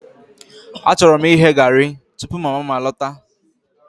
Achọrọ m ighe garri tupu mama m alọta